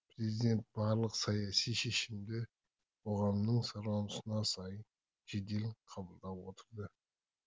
президент барлық саяси шешімді қоғамның сұранысына сай жедел қабылдап отырды